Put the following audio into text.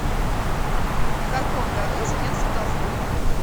в каком году женился толстой